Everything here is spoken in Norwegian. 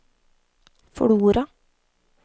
Flora